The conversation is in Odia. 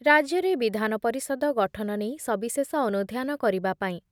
ରାଜ୍ୟରେ ବିଧାନ ପରିଷଦ ଗଠନ ନେଇ ସବିଶେଷ ଅନୁଧ୍ୟାନ କରିବା ପାଇଁ